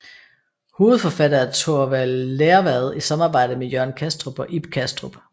Hovedforfatter er Torvald Lervad i samarbejde med Jørgen Kastrup og Ib Kastrup